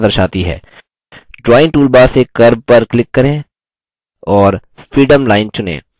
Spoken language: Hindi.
drawing toolbar से curve पर click करें और freeform line चुनें